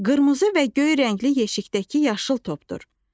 Qırmızı və göy rəngli yeşikdəki yaşıl topdur.